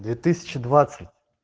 две тысячи двадцать